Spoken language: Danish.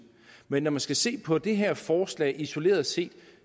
men når man skal se på det her forslag isoleret set